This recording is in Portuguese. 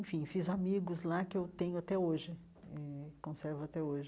Enfim, fiz amigos lá que tenho até hoje eh, conservo até hoje.